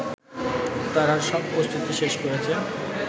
তারা সব প্রস্তুতি শেষ করেছেন